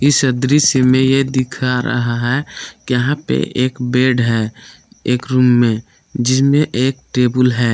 इस अदृश्य मे यह दिखा रहा है यहां पे एक बेड है एक रूम में जिसमें एक टेबुल है।